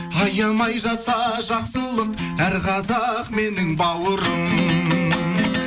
аямай жаса жақсылық әр қазақ менің бауырым